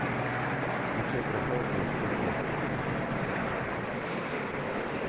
включай красавица из трущоб